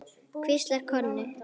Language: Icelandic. hvíslar Konni.